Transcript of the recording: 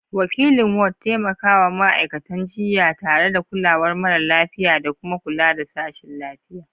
Wakilin Ward: Taimakawa ma'aikatan jinya tare da kulawar mara lafiya da kuma kula da sashin lafiya.